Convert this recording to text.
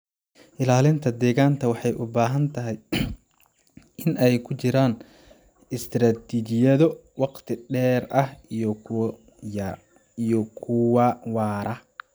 Ilaalinta deegaanka waxay u baahan tahay in ay ku jiraan istaraatiijiyado waqti dheer ah iyo kuwa waara.